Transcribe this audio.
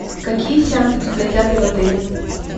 какие сеансы идут в кинотеатре в отеле